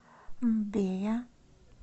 мбея